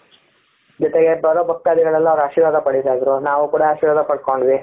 ಜೊತೆಗೆ ಬರೋ ಭಕ್ತಾದಿಗಳೆಲ್ಲ ಅವರ ಆಶೀರ್ವಾದ ಪಡಿತಾ ಇದ್ರು ನಾವು ಕೂಡ ಆಶೀರ್ವಾದ ಪಡ್ಕೊಂಡ್ವಿ.